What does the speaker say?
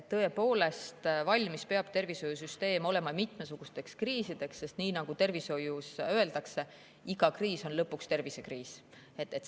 Tõepoolest, tervishoiusüsteem peab olema valmis mitmesugusteks kriisideks, sest nii nagu tervishoius öeldakse, iga kriis on lõpuks tervisekriis.